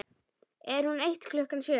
Er hún eitt klukkan sjö?